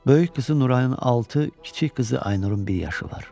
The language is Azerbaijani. Böyük qızı Nurayın altı, kiçik qızı Aynurun bir yaşı var.